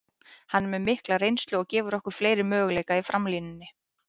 Hann er með mikla reynslu og gefur okkur fleiri möguleika í framlínunni.